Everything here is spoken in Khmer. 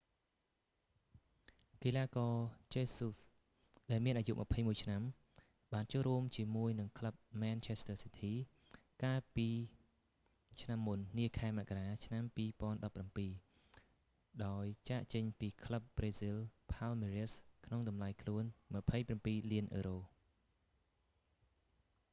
កីឡាករ jesus ជេស៊ូស ដែល​មាន​វ័យ21ឆ្នាំ បាន​ចូលរួម​ជាមួយ​នឹង​ក្លឹប manchester city កាលពី​ឆ្នាំ​មុន​នា​ខែមករា ឆ្នាំ 2017 ដោយ​ចាកចេញ​ពី​ក្លឹប​ប្រេស៊ីល palmeiras ក្នុង​តម្លៃ​ខ្លួន £ 27លាន។